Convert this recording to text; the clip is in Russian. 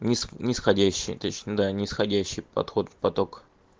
ни нисходящая точно да нисходящий подход в поток